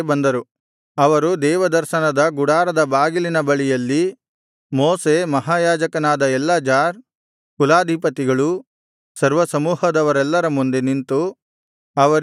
ಅವರು ದೇವದರ್ಶನದ ಗುಡಾರದ ಬಾಗಿಲಿನ ಬಳಿಯಲ್ಲಿ ಮೋಶೆ ಮಹಾಯಾಜಕನಾದ ಎಲ್ಲಾಜಾರ್ ಕುಲಾಧಿಪತಿಗಳು ಸರ್ವಸಮೂಹದವರೆಲ್ಲರ ಮುಂದೆ ನಿಂತು ಅವರಿಗೆ